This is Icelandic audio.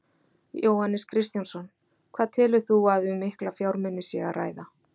Jóhannes Kristjánsson: Hvað telur þú að um mikla fjármuni sé að ræða?